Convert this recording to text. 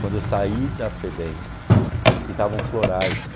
Quando eu saí da Febem, eles pintavam florais.